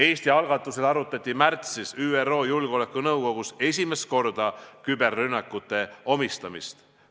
Eesti algatusel arutati märtsis ÜRO Julgeolekunõukogus esimest korda küberrünnete omistamist.